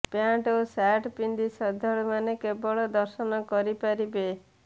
pant ଓ shirt ପିନ୍ଧି ଶ୍ରଦ୍ଧାଳୁମାନେ କେବଳ ଦର୍ଶନ କରିପାରିବେ